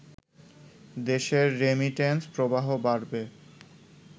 দেশের রেমিটেন্স প্রবাহ বাড়বে